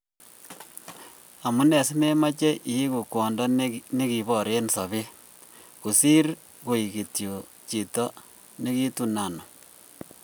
"Amune simemoche iigu kwondo negibor en sobet, kosir koik kityok chito nekitun anum?"